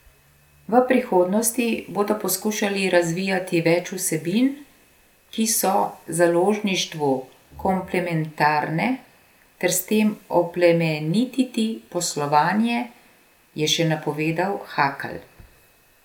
V prihodnosti bodo poskušali razvijati več vsebin, ki so založništvu komplementarne, ter s tem oplemenititi poslovanje, je še napovedal Hakl.